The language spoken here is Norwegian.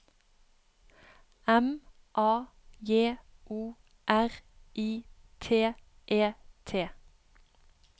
M A J O R I T E T